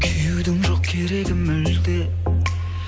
күюдің жоқ керегі мүлде